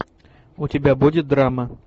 у тебя будет драма